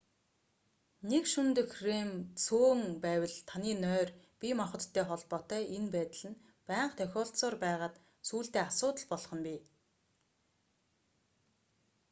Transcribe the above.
нэг шөнө дэх рем цөөн байвал таны нойр бие махбодтой холбоотой энэ байдал нь байнга тохиолдсоор байгаад сүүлдээ асуудал болох нь бий